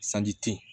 Sanji tin